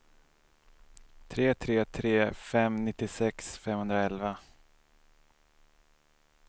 tre tre tre fem nittiosex femhundraelva